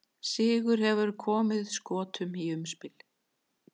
Sigur hefði komið Skotum í umspil.